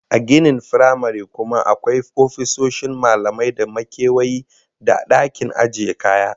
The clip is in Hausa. A ginin firamaren kuma akwai ofisoshin malamai da makewayi da dakin ajiye kaya